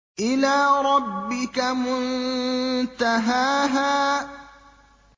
إِلَىٰ رَبِّكَ مُنتَهَاهَا